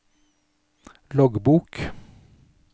loggbok